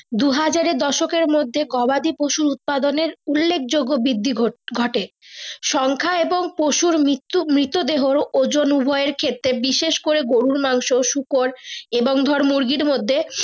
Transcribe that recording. দুহাজার এ দশকে এর মর্ধে গবাদি পশু উৎপাদনের উল্লেখ যোগ্য বৃদ্ধি ঘটে সংখ্যা এবংমৃত্যু মৃত দেহ ওজন উভয়ের ক্ষেত্রে বিশেষ করে গরু মাংস শুকর এবং ধরে মুরগির মর্ধে।